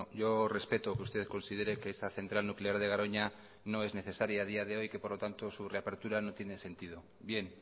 yo respeto que usted considere que esta central nuclear de garoña no es necesaria a día de hoy y que por lo tanto su reapertura no tiene sentido bien